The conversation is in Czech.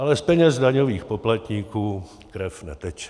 Ale z peněz daňových poplatníků krev neteče.